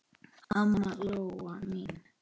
Amma Lóa mín.